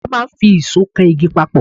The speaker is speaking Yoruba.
A máà ń fi ìsó kan igi papọ̀